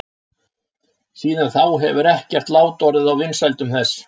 Síðan þá hefur ekkert lát orðið á vinsældum þess.